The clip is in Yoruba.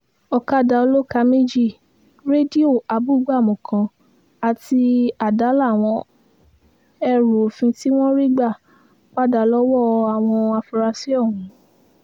ọ̀kadà olóka méjì rédíò abúgbámú kan àti àdá làwọn ẹrù òfin tí wọ́n rí gbà padà lọ́wọ́ àwọn afurasí ọ̀hún